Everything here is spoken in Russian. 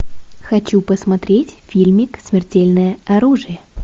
хочу посмотреть фильмик смертельное оружие